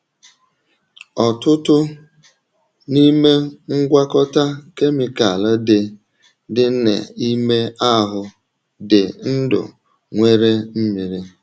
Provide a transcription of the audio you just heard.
Ọtụtụ n’ime ngwakọta kemịkal dị dị n’ime ahụ dị ndụ nwere mmiri.